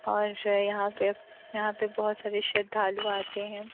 और यहां पे यहां पे बहुत सारे श्रद्धालू आते हैं।